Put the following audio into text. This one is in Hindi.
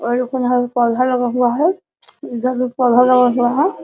और एक गो यहाँ पे पौधा लगा हुआ है इधर भी पौधा लगा हुआ है।